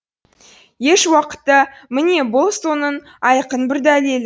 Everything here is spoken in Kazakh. ешуақытта міне бұл соның айқын бір дәлелі